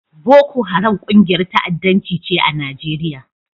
Boko Haram ƙungiyar ta'addanci ce a Nijeriya.